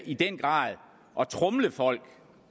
i den grad at tromle folk